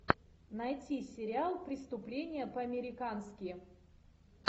найти сериал преступление по американски